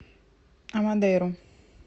амодейру